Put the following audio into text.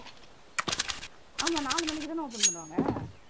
ஆமா நாலு மணிக்குதானே open பண்ணுவாங்க